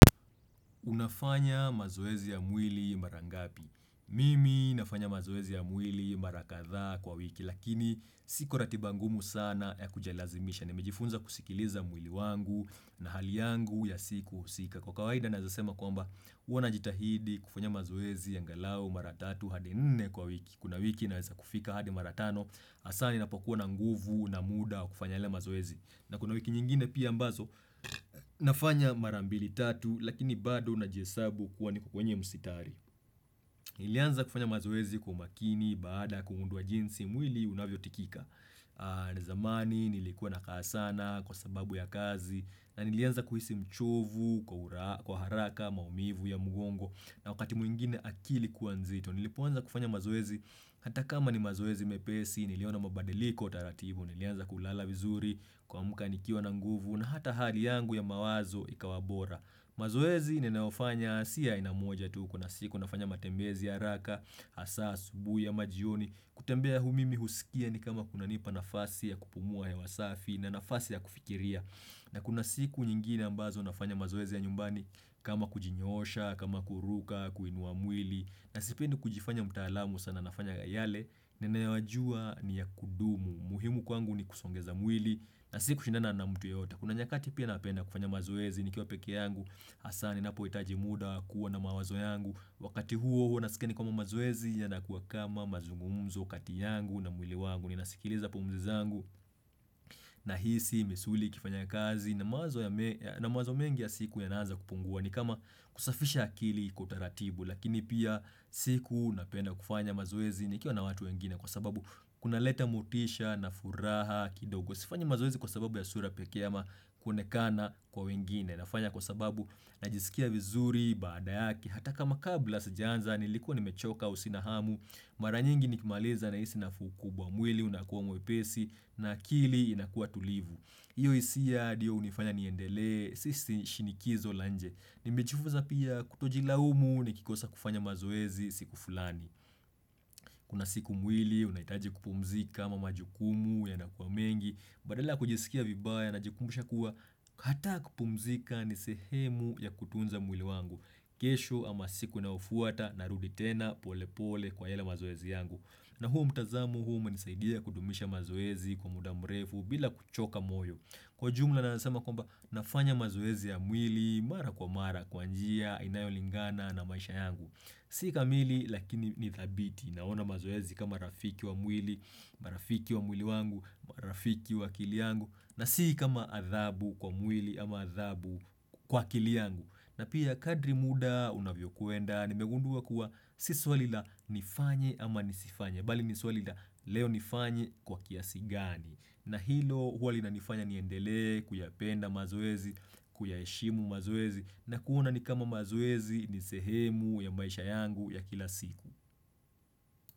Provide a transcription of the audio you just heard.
Unafanya mazoezi ya mwili mara ngapi. Mimi nafanya mazoezi ya mwili mara kadhaa kwa wiki lakini sikwa ratiba ngumu sana ya kujilazimisha. Nimejifunza kusikiliza mwili wangu na hali yangu ya siku husika. Kwa kawaida naweza sema kwamba huwa najitahidi kufanya mazoezi, angalau, mara tatu, hadi nne kwa wiki. Kuna wiki naweza kufika hadi mara tano, hasaa ni na pokuwa na nguvu, na muda, wa kufanya ile mazoezi. Na kuna wiki nyingine pia ambazo nafanya mara mbili tatu, lakini bado na jihesabu kuwa niko wenye msitari. Nilianza kufanya mazoezi kwa makini, baada kugundua jinsi, mwili unavyotikika. Na zamani nilikuwa na kaa sana kwa sababu ya kazi na nilianza kuhisi mchovu kwa haraka maumivu ya mgongo na wakati mwingine akili kuwa nzito nilipoanza kufanya mazoezi hata kama ni mazoezi mepesi niliona mabadiliko taratibu Nilianza kulala vizuri kuamka nikiwa na nguvu na hata hali yangu ya mawazo ikawa bora mazoezi ninayofanya si ya aina moja tu kuna siku nafanya matembezi ya haraka, hasa asubui ama jioni kutembea hu mimi huskia ni kama kuna nipa nafasi ya kupumua hewa safi na nafasi ya kufikiria na kuna siku nyingine ambazo nafanya mazoezi ya nyumbani kama kujinyoosha, kama kuruka, kuinua mwili na sipendi kujifanya mtaalamu sana nafanya yale ninayoyajua ni ya kudumu muhimu kwangu ni kusongeza mwili na sikushindana na mtu yeyote Kuna nyakati pia napenda kufanya mazoezi ni kiwa pekee yangu hasa ninapo hitaji muda kuwa na mawazo yangu Wakati huo huwa naskia ni kama mazoezi ya nakuwa kama mazungumzo kati yangu na mwili wangu Ninasikiliza pumzi zangu na hisi, misuli, ikifanya kazi na mawazo mengi ya siku yanaanza kupungua ni kama kusafisha akili kwa utaratibu lakini pia siku napenda kufanya mazoezi nikiwa na watu wengine Kwa sababu kunaleta motisha na furaha kidogo sifanyi mazoezi kwa sababu ya sura pekee ama kuonekana kwa wengine nafanya kwa sababu najisikia vizuri baada yake hata kama kabla sijaanza nilikuwa nimechoka au sina hamu mara nyingi nikimaliza nahisi nafuu kubwa mwili unakuwa mwepesi na akili inakuwa tulivu Iyo hisia ndiyo hunifanya niendelee si shinikizo la nje nimejifunza pia kutojilaumu nikikosa kufanya mazoezi siku fulani Kuna siku mwili, unahitaji kupumzika ama majukumu yana kuwa mengi, badala ya kujisikia vibaya na jikumbusha kuwa, hata kupumzika ni sehemu ya kutunza mwili wangu. Kesho ama siku inayofuata na rudi tena pole pole kwa yale mazoezi yangu. Na huo mtazamo huo umenisaidia kudumisha mazoezi kwa muda mrefu bila kuchoka moyo. Kwa jumla naweza sema kwamba nafanya mazoezi ya mwili mara kwa mara kwa njia inayolingana na maisha yangu. Si kamili lakini nidhabiti naona mazoezi kama rafiki wa mwili, marafiki wa mwili wangu, marafiki wa akili yangu na si kama adhabu kwa mwili ama adhabu kwa akili yangu. Na pia kadri muda unavyokwenda, nimegundua kuwa si swali la nifanye ama nisifanye, bali ni swali la leo nifanye kwa kiasi gani? Na hilo huwa linanifanya niendelee, kuyapenda mazoezi, kuyaheshimu mazoezi, na kuona nikama mazoezi nisehemu ya maisha yangu ya kila siku.